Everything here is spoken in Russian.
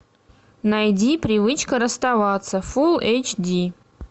найди привычка расставаться фулл эйч ди